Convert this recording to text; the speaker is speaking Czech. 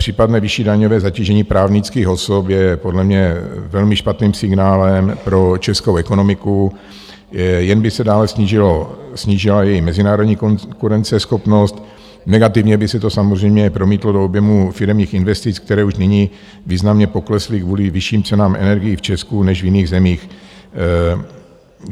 Případné vyšší daňové zatížení právnických osob je podle mě velmi špatným signálem pro českou ekonomiku, jen by se dále snížila její mezinárodní konkurenceschopnost, negativně by se to samozřejmě promítlo do objemu firemních investic, které už nyní významně poklesly kvůli vyšším cenám energií v Česku než v jiných zemích.